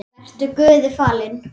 Vertu Guði falinn.